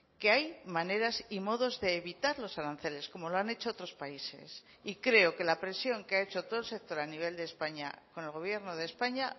que hay maneras y modos de evitar los aranceles como lo han hecho otros países y creo que la presión que ha hecho todo el sector a nivel de españa con el gobierno de españa